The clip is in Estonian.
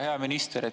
Hea minister!